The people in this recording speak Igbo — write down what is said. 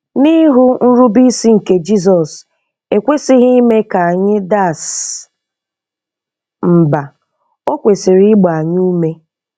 N'ịhụ nrubeisi nke Jisọs ekwesighị ime ka anyị das mba, o kwesịrị ịgba anyị ume.